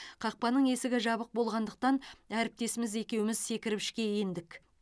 қақпаның есігі жабық болғандықтан әріптесіміз екеуіміз секіріп ішке ендік